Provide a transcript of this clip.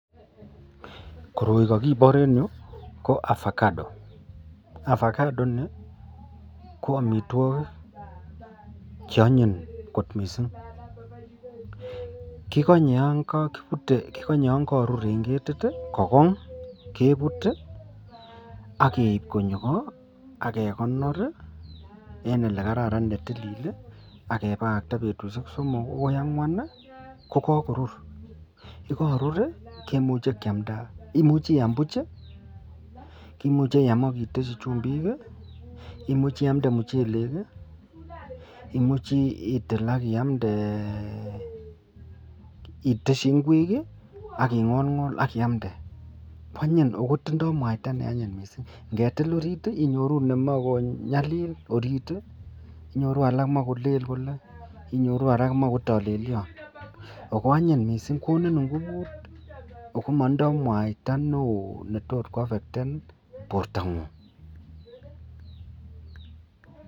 Koroi kakibor en iroyu ko avocado, avocado ini ko amitwagik cheanyin kot mising kikanye yangarur en ketit kogong kebut ageib konyo ko akekonor en olekararan en oletilil akebakakta betushek somok akoi angwan kokarur yekarur komuche kiamda imuche iyam Buch kimuche iyam akiteshi chumbik imuche iyamde muchelek imuche itil akiyamde akiteshi ingwek akingolngol akiyamde kwanyin akotindoi mwaita neanyin mising angetil orit inyoru nemakonyalil orit inyoru alak komakolel Kole ako anyin mising akokonin ingubut akomaindoi mwaita neon netot kwafecten borta ng'ung.